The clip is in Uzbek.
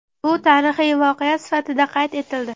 Bu tarixiy voqea sifatida qayd etildi.